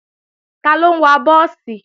Taló ń wa búùsì?